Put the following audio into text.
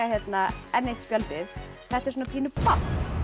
enn eitt spjaldið þetta er svona pínu babb